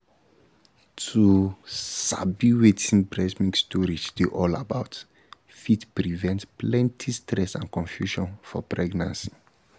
to um sabi wetin breast milk storage dey all about fit prevent plenty stress and confusion for pregnancy